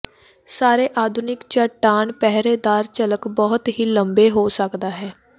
ਸਾਰੇ ਆਧੁਨਿਕ ਚੱਟਾਨ ਪਹਿਰੇਦਾਰ ਝਲਕ ਬਹੁਤ ਹੀ ਲੰਬੇ ਹੋ ਸਕਦਾ ਹੈ